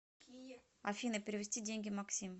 афина перевести деньги максим